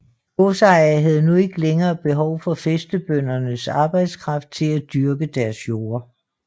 Godsejerne havde nu ikke længere behov for fæstebøndernes arbejdskraft til at dyrke deres jorder